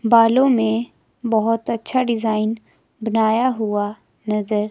बालों में बहोत अच्छा डिजाइन बनाया हुआ नजर --